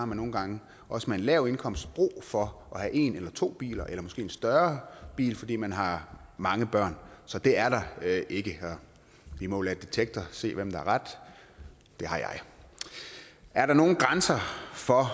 man nogle gange også med en lav indkomst brug for at have en eller to biler eller måske en større bil fordi man har mange børn så det er der ikke vi må jo lade detektor se hvem der har ret det har jeg er der nogen grænser for